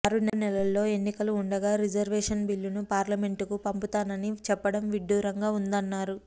ఆరు నెలల్లో ఎన్నికలు ఉండగా రిజర్వేషన్ బిల్లును పార్లమెంట్కు పంపుతానని చెప్పడం విడ్డూరంగా ఉందన్నారు